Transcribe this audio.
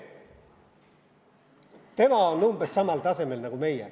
Tema on umbes samal tasemel nagu meie.